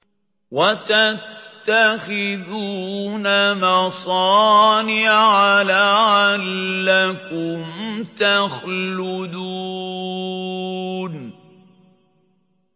وَتَتَّخِذُونَ مَصَانِعَ لَعَلَّكُمْ تَخْلُدُونَ